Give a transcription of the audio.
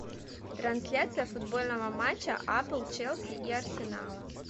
трансляция футбольного матча апл челси и арсенала